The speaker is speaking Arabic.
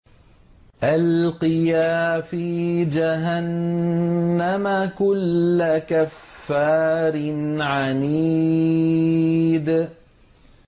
أَلْقِيَا فِي جَهَنَّمَ كُلَّ كَفَّارٍ عَنِيدٍ